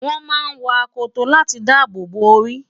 wọ́n máa ń wọ akoto láti dáàbòbò orí